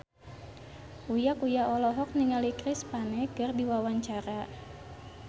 Uya Kuya olohok ningali Chris Pane keur diwawancara